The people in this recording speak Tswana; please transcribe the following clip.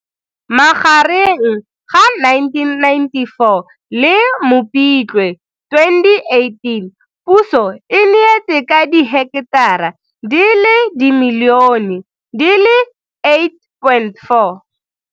Magareng ga 1994 le Mopitlwe 2018 puso e neetse ka diheketara di le dimilione di le 8,4.